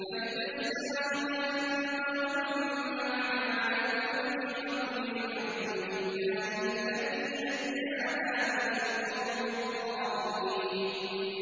فَإِذَا اسْتَوَيْتَ أَنتَ وَمَن مَّعَكَ عَلَى الْفُلْكِ فَقُلِ الْحَمْدُ لِلَّهِ الَّذِي نَجَّانَا مِنَ الْقَوْمِ الظَّالِمِينَ